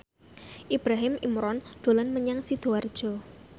Ibrahim Imran dolan menyang Sidoarjo